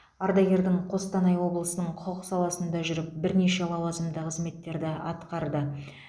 ардагердің қостанай облысының құқық саласында жүріп бірнеше лауазымды қызметтерді атқарды